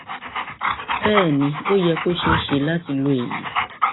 bẹẹ ni ó yẹ kó ṣeé ṣe láti lo èyí